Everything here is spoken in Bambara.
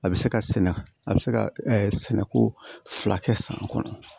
A bɛ se ka sɛnɛ a bɛ se ka sɛnɛko fila kɛ san kɔnɔ